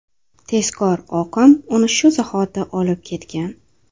Tezkor oqim uni shu zahoti olib ketgan.